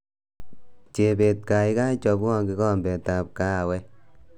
Chebet kaikai chobwo kikombetab kahawek